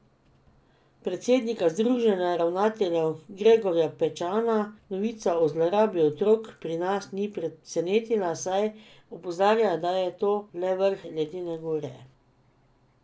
Predsednika združenja ravnateljev Gregorja Pečana novica o zlorabi otrok pri nas ni presenetila, saj opozarja, da je to le vrh ledene gore.